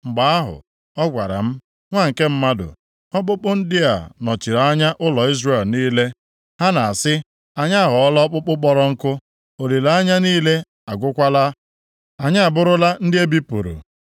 Mgbe ahụ, ọ gwara m, “Nwa nke mmadụ, ọkpụkpụ ndị a nọchiri anya ụlọ Izrel niile. Ha na-asị, ‘Anyị aghọọla ọkpụkpụ kpọrọ nkụ, olileanya niile agwụkwala, anyị abụrụla ndị e bipụrụ.’